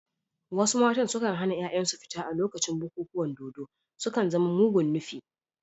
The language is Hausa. Wasu matan kan hana ‘ya’yansu fita a lokacin bukukuwan dodo, sun kan zama mugun nufi.